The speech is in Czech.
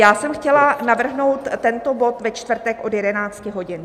Já jsem chtěla navrhnout tento bod ve čtvrtek od 11 hodin.